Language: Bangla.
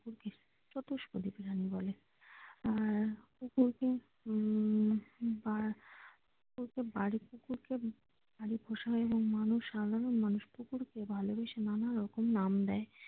চতুষ্পদী প্রাণী বলে আহ উম এবং সাধারণ মানুষ কুকুরকে ভালোবেসে নানারকম নাম দেয়।